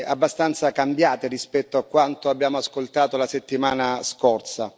abbastanza cambiate rispetto a quanto abbiamo ascoltato la settimana scorsa.